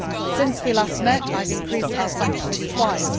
Since we last met, I have increased our sanctions twice.